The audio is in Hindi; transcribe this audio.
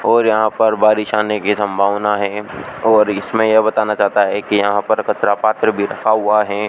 और यहां पर बारिश आने की संभावना है और इसमें यह बताना चाहता है कि यहां पर कचरा पात्र भी रखा हुआ है।